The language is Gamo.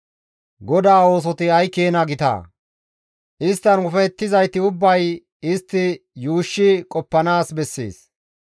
GODAA oosoti ay keena gitaa! Isttan ufayettizayti ubbay istti yuushshi qoppanaas bessees.